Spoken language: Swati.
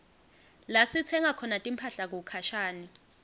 lasitsenga khona timphahla kukhashane